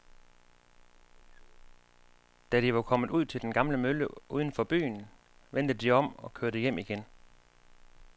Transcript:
Da de var kommet ud til den gamle mølle uden for byen, vendte de om og kørte hjem igen.